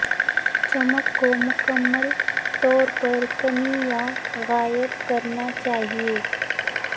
چمک کو مکمل طور پر کمی یا غائب کرنا چاہئے